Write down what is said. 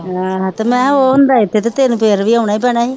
ਹਾਂ ਤੇ ਮੈਂ ਕਿਹਾ ਉਹ ਤੈਨੂੰ ਫਿਰ ਵੀ ਆਉਣਾ ਹੀ ਪੈਣਾ ਸੀ।